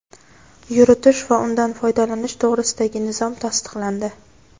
yuritish va undan foydalanish to‘g‘risidagi nizom tasdiqlandi.